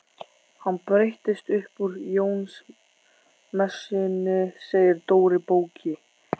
Hann breytist upp úr Jónsmessunni segir Dóri bóki.